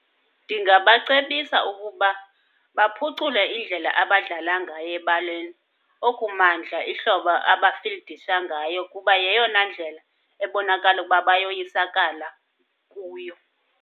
Ndingabacebisa ukuba baphucule indlela abadlala ngayo ebaleni, okumandla ihlobo abafildisha ngayo kuba yeyona ndlela ebonakala ukuba bayoyisakala kuyo.